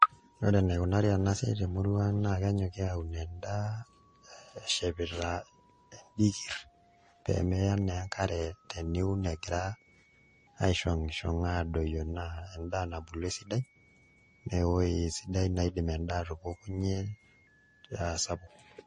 Ore enaikunari ena siai temurua ang' naa kenyoki aaun endaa eshepita endikirr pee meya naa enkare teniun egira aishong'ishong' aadoyio naa endaa nabulu esidai naa ewueji sidai naidim endaa atupukunyie aa sapuk.